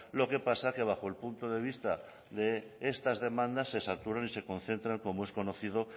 lo que pasa que bajo el punto de vista de estas demandas se saturan y se concentran como es conocido